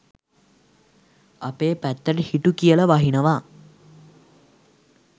අපේ පැත්තට හිටු කියල වහිනවා